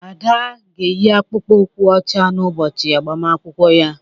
Ada ga-eyi akpụkpọ ụkwụ ọcha n'ụbọchị agbamakwụkwọ ya